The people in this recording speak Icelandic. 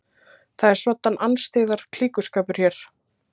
Það er svoddan andstyggðar klíkuskapur hér!